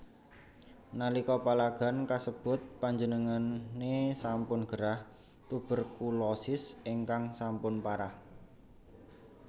Nalika palagan kasebut panjenengane sampun gerah Tuberkulosis ingkang sampun parah